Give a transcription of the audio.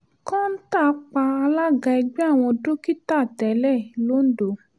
kọ́ńtà pa alága ẹgbẹ́ àwọn dókítà tẹ́lẹ̀ londo